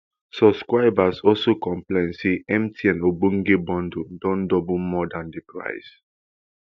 subscribers also complain say mtn onegb bundle don double more dan di price